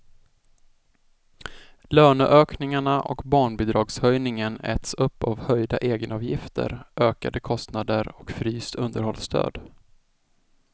Löneökningarna och barnbidragshöjningen äts upp av höjda egenavgifter, ökade kostnader och fryst underhållsstöd.